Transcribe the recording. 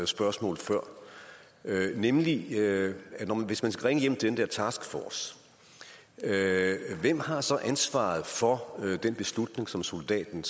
spørgsmål før nemlig at hvis man skal ringe hjem til den der taskforce hvem har så ansvaret for den beslutning som soldaten